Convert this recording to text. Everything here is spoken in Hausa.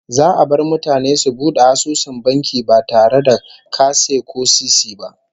Za'a bar mutane su bude asusun banki ba tare da kase ko sisi ba